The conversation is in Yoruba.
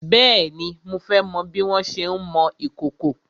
Bèéni, mo fẹ́ mọ bí wọn ṣé ń mọ ìkòkò.